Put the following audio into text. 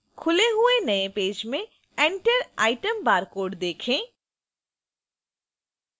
खुले हुए नए पेज में enter item barcode देखें